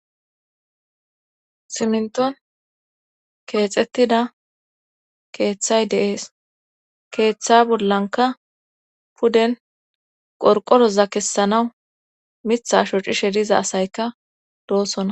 Simenton keexettida keeththay deees keeththa bollanka puden qorqoroza kessanaw mithasho cishe diza asayka doosona.